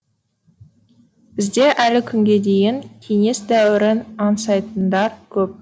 бізде әлі күнге дейін кеңес дәуірін аңсайтындар көп